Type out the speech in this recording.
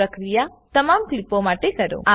આ પ્રક્રિયા તમામ કલીપો માટે કરો